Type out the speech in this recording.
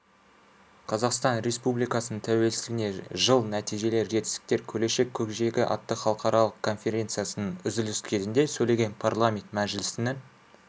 қазақстан республикасының тәуелсіздігіне жыл нәтижелер жетістіктер келешек көкжиегі атты халықаралық конференциясының үзіліс кезінде сөйлеген парламенті мәжілісінің